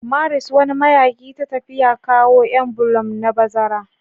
Maris, wani mayaƙi ta tafiya, kawo m Bloom na bazara.